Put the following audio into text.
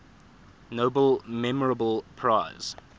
nobel memorial prize